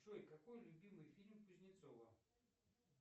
джой какой любимый фильм кузнецова